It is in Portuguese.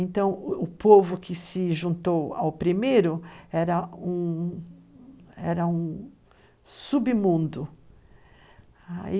Então, o povo que se juntou ao primeiro era um... Era um submundo.